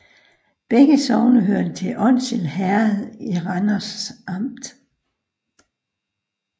Begge sogne hørte til Onsild Herred i Randers Amt